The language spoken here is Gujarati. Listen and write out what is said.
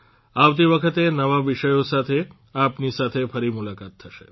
આવતી વખતે નવા વિષયો સાથે આપની સાથે ફરી મુલાકાત થશે